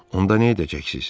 Onda nə edəcəksiz?